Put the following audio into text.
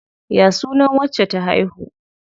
Ya suna wacce ta haihu?